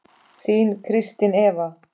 Þín Kristín Eva.